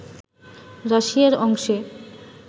রাশিয়ার অংশে